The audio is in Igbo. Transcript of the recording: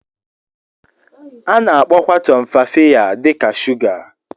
A na-akpọkwa Tumfafiya dị ka shuga.